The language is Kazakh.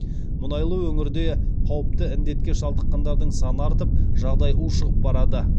мұнайлы өңірде қауіпті індетке шалдыққандардың саны артып жағдай ушығып барады